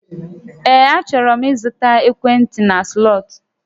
Ee, achọrọ m ịzụta ekwentị na Slọt